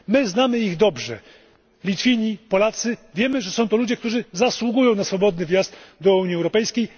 My znamy ich dobrze, Litwini, Polacy, wiemy, że są to ludzie, którzy zasługują na swobodny wjazd do Unii Europejskiej.